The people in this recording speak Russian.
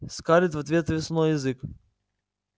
скарлетт в ответ высунула язык